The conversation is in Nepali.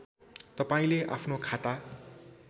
तपाईँले आफ्नो खाता